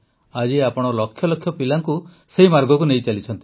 ଆଜି ଆପଣ ଲକ୍ଷ ଲକ୍ଷ ପିଲାଙ୍କୁ ସେହି ମାର୍ଗକୁ ନେଇଚାଲିଛନ୍ତି